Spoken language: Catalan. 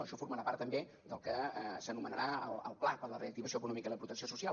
això formarà part també del que s’anomenarà el pla per a la reactivació econòmica i la protecció social